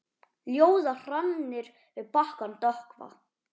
Ljóða hrannir við bakkann dökkva.